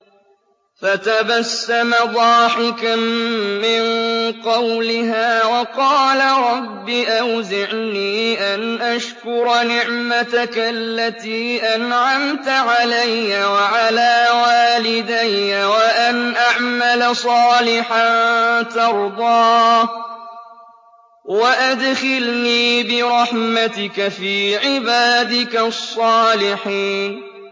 فَتَبَسَّمَ ضَاحِكًا مِّن قَوْلِهَا وَقَالَ رَبِّ أَوْزِعْنِي أَنْ أَشْكُرَ نِعْمَتَكَ الَّتِي أَنْعَمْتَ عَلَيَّ وَعَلَىٰ وَالِدَيَّ وَأَنْ أَعْمَلَ صَالِحًا تَرْضَاهُ وَأَدْخِلْنِي بِرَحْمَتِكَ فِي عِبَادِكَ الصَّالِحِينَ